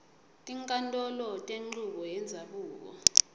tinkhantolo tenchubo yendzabuko